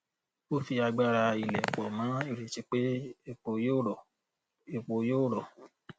ó fi agbára ilẹ pọ mọ ìrètí pé epo yóò rọ epo yóò rọ